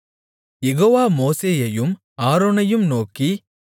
யெகோவா மோசேயையும் ஆரோனையும் நோக்கி